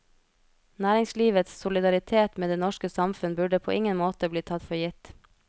Næringslivets solidaritet med det norske samfunn burde på ingen måte bli tatt for gitt.